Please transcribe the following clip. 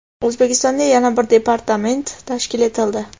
O‘zbekistonda yana bir departament tashkil etildi.